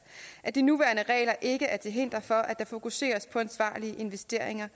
at de nuværende regler ikke er til hinder for at der fokuseres på ansvarlige investeringer